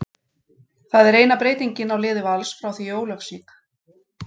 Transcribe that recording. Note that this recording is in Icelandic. Það er eina breytingin á liði Vals frá því í Ólafsvík.